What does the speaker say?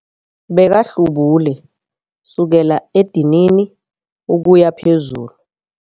Bekahlubule kusukela edinini ukuya phezulu.